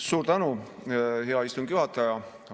Suur tänu, hea istungi juhataja!